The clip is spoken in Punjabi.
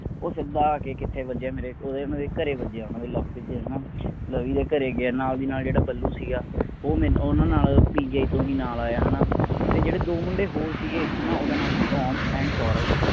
ਉਹ ਸਿੱਧਾ ਆ ਕੇ ਕਿਥੇ ਵਜੀਆ ਮੇਰੇ ਉਹ ਮੇਰੇ ਘਰੇ ਵੱਜਿਆ ਓਹਨਾ ਦੇ ਲਵਪ੍ਰੀਤ ਦੇ ਹੈਨਾ ਲਵੀ ਦੇ ਘਰੇ ਗਿਆ ਨਾਲ ਦੇ ਨਾਲ ਜਿਹੜਾ ਬੱਲੂ ਸੀਗਾ ਉਹ ਮੈਂਨੂੰ ਓਹਨਾ ਨਾਲ PGI ਤੋਂ ਹੀ ਨਾਲ ਆਇਆ ਤੇ ਜਿਹੜੇ ਦੋ ਮੁੰਡੇ ਹੋਰ ਸੀਗੇ ਹੈਨਾ ਉਹਨਾਂ ਦਾ ਨਾਮ ਸੀਗਾ ਅਨੰਤ and ਸੌਰਵ